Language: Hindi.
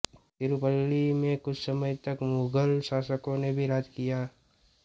तिरूचिरापल्ली में कुछ समय तक मुगल शासकों ने भी राज किया